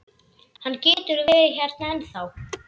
Hann getur verið hérna ennþá.